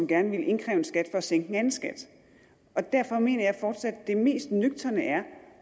gerne ville indkræve en skat for at sænke en anden skat derfor mener jeg fortsat at det mest nøgterne er